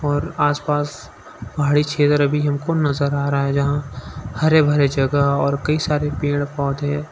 और आसपास पहाड़ी क्षेत्र भी हमको नजर आ रहा है। जहां हरे भरे जगह और कई सारे पेड़ पौधे--